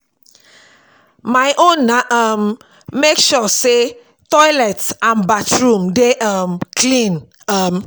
my own na to um mek sure say toilet and bathroom dey um clean um